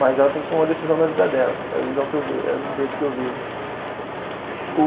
Mas ela tem que tomar uma decisão na vida dela, é a visão que eu ve, é o jeito que eu vejo. O